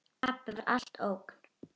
Pabbi var alltaf ógn.